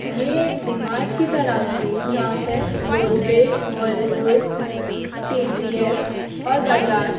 ये एक डी-मार्ट की तरह है जहाँ पे गोदरेज व्हर्लपूल टी.सी.एल और बजाज --